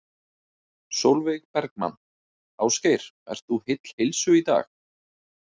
Sólveig Bergmann: Ásgeir, ert þú heill heilsu í dag?